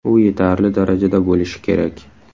U yetarli darajada bo‘lishi kerak.